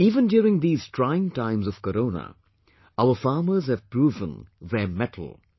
Even during these trying times of Corona, our farmers have proven their mettle